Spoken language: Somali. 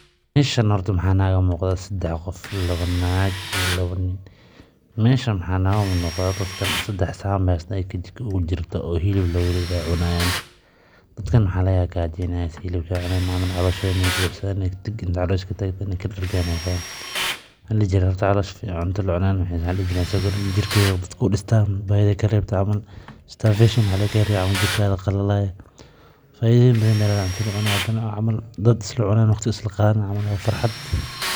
Meeshan horta waxaa iiga muuqda sadex qof labo naag iyo nin, meeshan waxaa nooga muuqda dadkan sedax saxan baay heystaan kajiko oogu jirto oo hilib loogu ride cunaayan, dadka waxaa laga yaaba gaaja inaay hayse hilib saay ucuni haayan, calooshooda inaay buuxsadaan inaay kadargaan ayeey rabaan, cunta lacunaay waxaay soo kordini jirka ayeey dadka udistaa, baahida ayeey kareebtaa, faidoyin fara badan ayeey ledahay cunta lacunaayo, dad isla cunaayo waqti isla qaadanayo camal waa farxad.